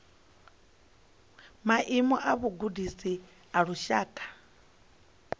maimo a vhugudisi a lushaka